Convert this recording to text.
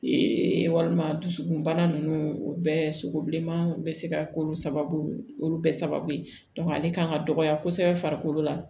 Ee walima dusukunbana ninnu o bɛɛ sogo bilenman bɛ se ka k'olu sababu ye olu bɛɛ sababu ye ale kan ka dɔgɔya kosɛbɛ farikolo la